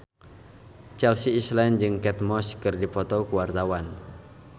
Chelsea Islan jeung Kate Moss keur dipoto ku wartawan